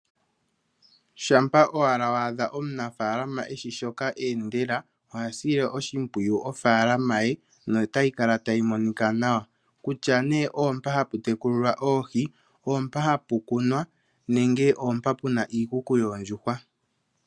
Shampa owala wa a dha omunafaalama e shi shoka eendela oha sile oshimpwiyu ofaalama ye notayi kala tayi monika nawa, kutya nee oompa hapu tekulilwa oohi, oompa hapu kunwa nenge oompa puna iikuku yoondjuhwa.